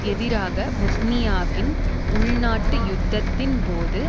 எதிராக பொஸ்னியாவின் உள்நாட்டுயுத்தத்தின் போது